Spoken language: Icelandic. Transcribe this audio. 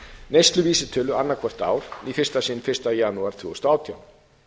neysluvísitölu annað hvert ár í fyrsta sinn fyrsta janúar tvö þúsund og átján